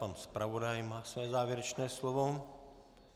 Pan zpravodaj má své závěrečné slovo.